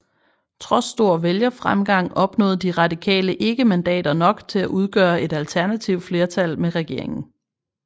Trods stor vælgerfremgang opnåede De Radikale ikke mandater nok til at udgøre et alternativt flertal med regeringen